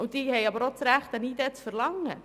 Clubs haben auch das Recht, eine ID zu verlangen.